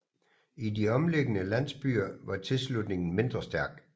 I de omliggende landsbyer var tilslutningen mindre stærk